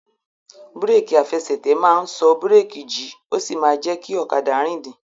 Búrèkì àfẹsẹ̀tẹ̀ máa n sọ búrèkì jí ó sì máa jẹ kí ọ̀kadà rìndìn